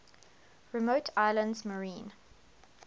remote islands marine